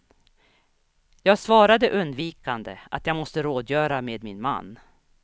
Jag svarade undvikande att jag måste rådgöra med min man.